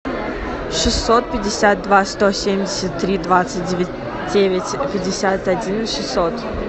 шестьсот пятьдесят два сто семьдесят три двадцать девять пятьдесят один шестьсот